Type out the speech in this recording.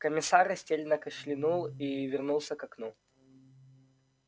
комиссар растерянно кашлянул и вернулся к окну